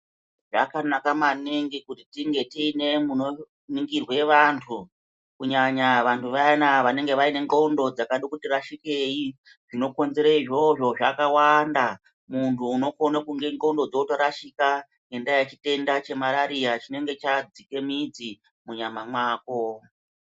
Zvakanaka maningi kuti tinge tine munoningirwe vantu kunyanya vantu vayana vanenge vaine ndxondo dzakade kuti rashikei. Zvinokonzere izvozvo zvakawanda muntu unokone kunge ndxondo dzatorashika ngendaa yechitenda chemarariya chinenge chadzika midzi munyama mwako.